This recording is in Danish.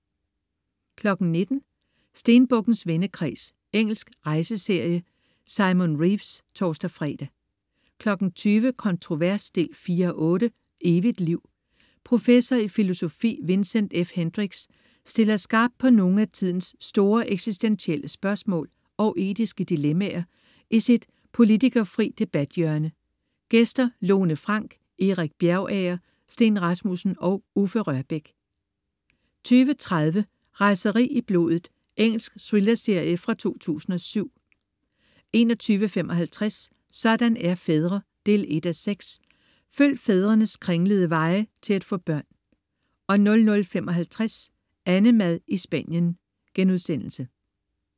19.00 Stenbukkens vendekreds. Engelsk rejseserie. Simon Reeves (tors-fre) 20.00 Kontrovers 4:8. Evigt liv. Professor i filosofi Vincent F. Hendricks stiller skarpt på nogle af tidens store eksistentielle spørgsmål og etiske dilemmaer i sit politikerfrie debathjørne. Gæster: Lone Frank, Erik Bjergager, Steen Rasmussen og Uffe Rørbæk 20.30 Raseri i blodet. Engelsk thrillerserie fra 2007 21.55 Sådan er fædre 1:6. Følg fædrenes kringlede veje til at få børn 00.55 AnneMad i Spanien*